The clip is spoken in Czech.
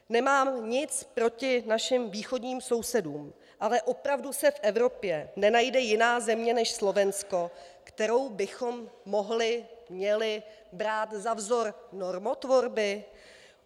Nemám nic proti našim východním sousedům, ale opravdu se v Evropě nenajde jiná země než Slovensko, kterou bychom mohli, měli brát za vzor normotvorby?